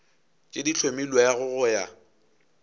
tše di hlomilwego go ya